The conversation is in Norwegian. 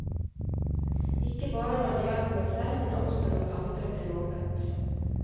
Ikke bare når det gjaldt meg selv, men også når andre ble mobbet.